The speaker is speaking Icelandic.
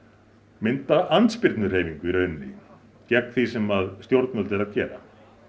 mynda andspyrnuhreyfingu í rauninni gegn því sem stjórnvöld eru að gera